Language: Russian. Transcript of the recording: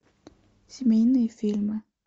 семейные фильмы